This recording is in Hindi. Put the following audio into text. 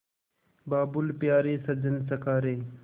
बाबुल प्यारे सजन सखा रे